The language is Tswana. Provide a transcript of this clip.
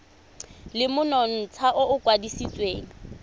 le monontsha o o kwadisitsweng